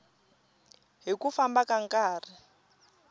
hi ku famba ka nkarhi